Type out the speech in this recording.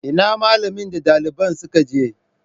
Ina malamin da dalibin suka je?